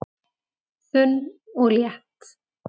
Þunn og létt